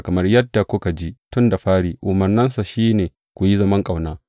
Kamar yadda kuka ji tun da fari, umarninsa shi ne ku yi zaman ƙauna.